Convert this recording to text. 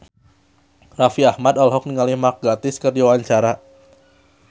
Raffi Ahmad olohok ningali Mark Gatiss keur diwawancara